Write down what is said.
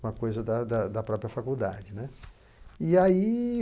Uma coisa da da da própria faculdade, né. E aí